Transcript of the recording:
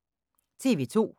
TV 2